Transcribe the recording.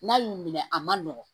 N'a y'u minɛ a man nɔgɔn